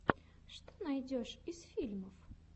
что найдешь из фильмов